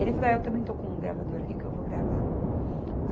Ele falou, é eu também estou com um gravador aqui que eu vou gravar.